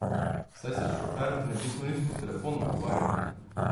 Saj se šofer ne bi smel niti po telefonu pogovarjati!